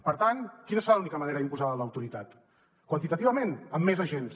per tant quina serà l’única manera d’imposar l’autoritat quantitativament amb més agents